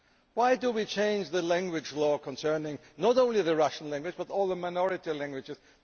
Why change the language law concerning not only the Russian language but all the minority languages?